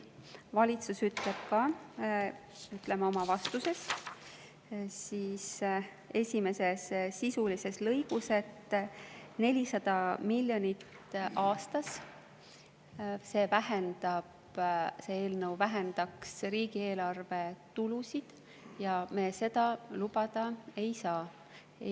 Valitsus ütleb ka oma vastuse esimeses sisulises lõigus, et see eelnõu vähendaks riigieelarve tulusid 400 miljonit aastas ja me seda lubada ei saa.